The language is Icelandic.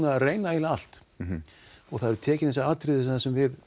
að reyna eiginlega allt og það eru tekin fyrir þessi atriði sem við